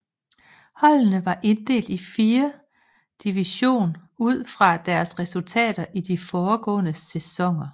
Holdene var inddelt i fire division ud fra deres resultater i de foregående sæsoner